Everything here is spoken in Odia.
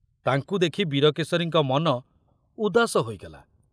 ତାଙ୍କୁ ଦେଖୁ ବୀରକେଶରୀଙ୍କ ମନ ଉଦାସ ହୋଇଗଲା।